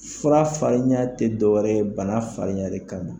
Fura fararinya tɛ dɔ wɛrɛ ye bana fararinya de kama